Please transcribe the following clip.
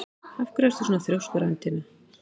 Af hverju ertu svona þrjóskur, Arntinna?